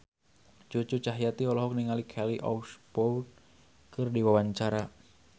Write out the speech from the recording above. Cucu Cahyati olohok ningali Kelly Osbourne keur diwawancara